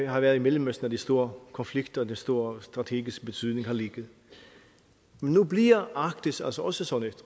har været i mellemøsten at de store konflikter og den store strategiske betydning har ligget nu bliver arktis altså også sådan et